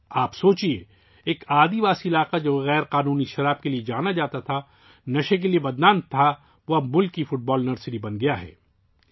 ذرا تصور کریں کہ ایک قبائلی علاقہ ، جو ناجائز شراب کے لیے مشہور تھا، نشے کے لیے بدنام تھا، وہ اب ملک کی فٹ بال نرسری بن گیا ہے